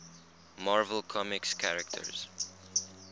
marvel comics characters